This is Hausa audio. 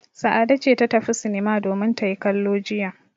Sa'ade ce ta tafi sinima domin ta yi kallo jiya.